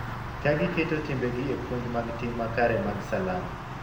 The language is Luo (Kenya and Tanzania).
Ka giketo timbegi e puonj mag tim makare mag Salam.